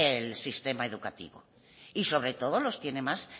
el sistema educativo y sobre todo los tiene más